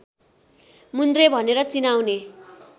मुन्द्रे भनेर चिनाउने